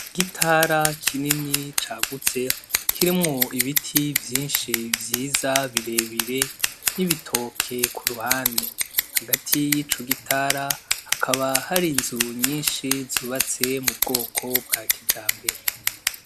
Igitara kinini cagutse kirimwo ibiti vyinshi vyiza birebire n'ibitoke kuruhande. Hagati yico gitara hakaba hari inzu nyinshi zubatse mubwoko bwakijambere.